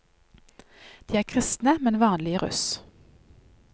De er kristne, men vanlige russ.